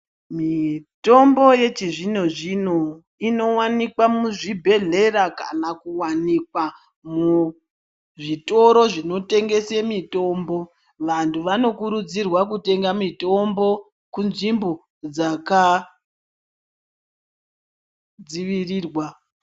Mitombo yechizvino-zvino inovanikwa muzvibhedhlera kana kuvanikwa muzvitoro zvinotengese mitombo. Vantu vanokurudzirwa kutenga mitombo kunzvimbo dzakadzivirirwa